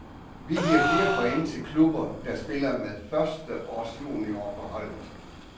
Vi giver flere point til klubber, der spiller med førsteårsjuniorer på holdet.